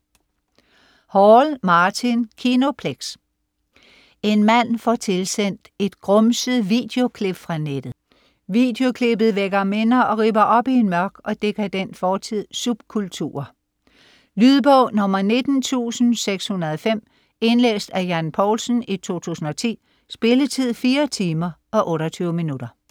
Hall, Martin: Kinoplex En mand får tilsendt et grumset videoklip fra nettet. Videoklippet vækker minder, og ripper op i en mørk og dekadent fortidsualitet; subkulturer. Lydbog 19605 Indlæst af Jan Poulsen, 2010. Spilletid: 4 timer, 28 minutter.